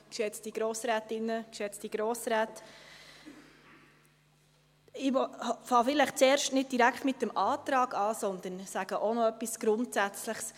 Ich beginne zuerst vielleicht nicht direkt mit dem Antrag, sondern sage noch etwas Grundsätzliches.